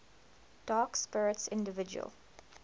dark spirits individual